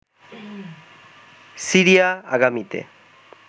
Syria আগামীতে